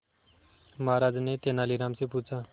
महाराज ने तेनालीराम से पूछा